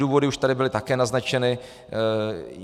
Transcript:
Důvody už tady byly také naznačeny.